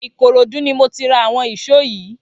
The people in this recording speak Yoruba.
Ikorodu ni mó ti rà awọn ìṣó yi